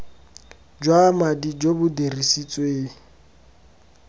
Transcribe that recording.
jwa madi jo bo dirisitsweng